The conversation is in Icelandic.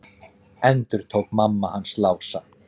endurtók mamma hans Lása.